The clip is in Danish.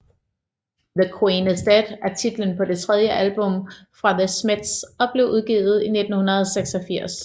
The Queen Is Dead er titlen på det tredje album fra The Smiths og blev udgivet i 1986